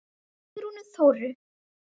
Frá Sigrúnu Þóru.